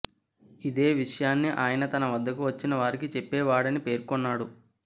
ఇదే విషయాన్ని ఆయన తన వద్దకు వచ్చిన వారికి చెప్పేవాడని పేర్కొన్నాడు